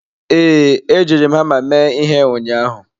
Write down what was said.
Ee, ejiri m hama mee ihe ụnyaahụ.